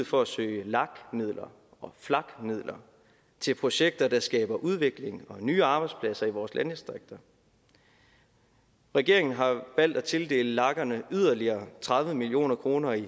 for at søge lag midler og flag midler til projekter der skaber udvikling og nye arbejdspladser i vores landdistrikter regeringen har valgt at tildele lagerne yderligere tredive million kroner i